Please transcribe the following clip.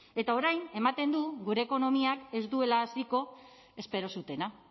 eta orain ematen du gure ekonomiak ez duela hasiko espero zutena